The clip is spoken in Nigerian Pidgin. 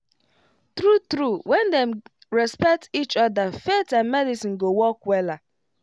true true when dem respect each other faith and medicine go work wella